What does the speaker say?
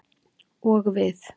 Og við.